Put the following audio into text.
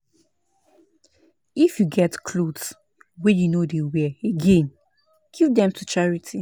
If you get clothes wey you no dey wear again, give dem to charity.